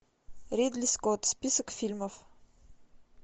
ридли скотт список фильмов